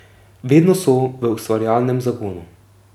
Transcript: Vedno so v ustvarjalnem zagonu.